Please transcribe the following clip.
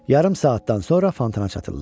Yarım saatdan sonra fantana çatırlar.